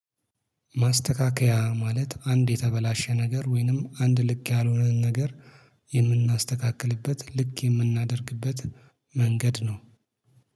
ማስተካከያ ማለት አንድ የተበላሸ ነገር ወይንም አንድ ልክ ያልሆነን ነገር የምናስተካክልበት ልክ የምናደርግበት መንገድ ነው